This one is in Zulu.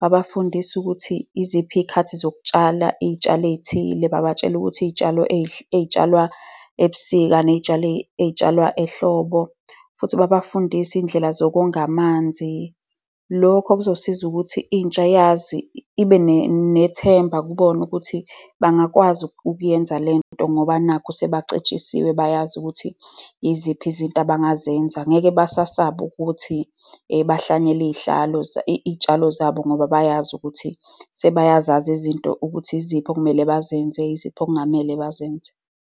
Babafundise ukuthi iziphi iy'khathi zokutshala iy'tshalo ey'thile. Babatshele ukuthi iy'tshalo ey'tshalwa ebusika ney'tshalo ey'tshalwa ehlobo. Futhi babafundise izindlela zokonga amanzi. Lokho kuzosiza ukuthi intsha yazi, ibe nethemba kubona ukuthi bangakwazi ukuyenza lento ngoba nakhu sebacetshisiwe. Bayazi ukuthi iziphi izinto abangazenza. Angeke basasaba ukuthi bahlwanyele iy'tshalo zabo ngoba bayazi ukuthi sebeyazazi izinto ukuthi yiziphi okumele bazenze, yiziphi okungamele bazenze.